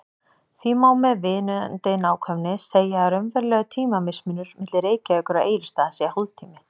Því má með viðunandi nákvæmni segja að raunverulegur tímamismunur milli Reykjavíkur og Egilsstaða sé hálftími.